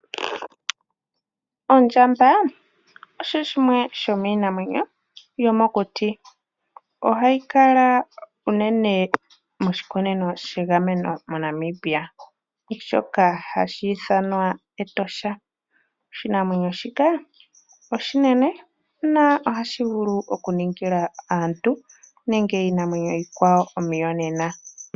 Ondjamba osho shimwe shomiinamwenyo yomokuti. Ohayi kala uunene moshikunino shegameno moNamibia shoka hashi ithanwa Etosha. Oshinamwenyo shika oshinene na ohashi vulu okuningila aantu nenge iinamwenyo iikwawo omiyonena.